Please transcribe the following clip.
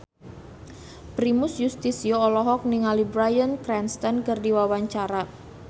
Primus Yustisio olohok ningali Bryan Cranston keur diwawancara